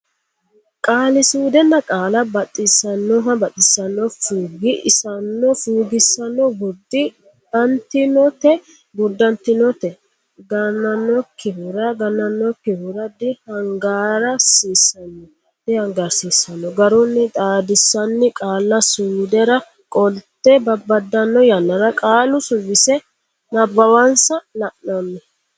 Qaali suudda Qaalla bax isaannoho baxisannoho fuug issanno fuugissanno gurd antinote gurdantinote gan annokkihura ganannokkihura di hangaar siisanno dihangaarsiisanno garunni xaadissanni qaalla suddara qolte babbaddanno yannara qaalu suwisse nabbawansa la anni.